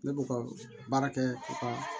Ne b'u ka baara kɛ u ka